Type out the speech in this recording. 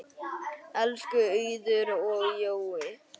Elsku Auður og Jói.